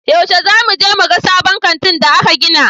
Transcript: Yaushe za mu je muga sabon kanti da aka gina?